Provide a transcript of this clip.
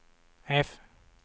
F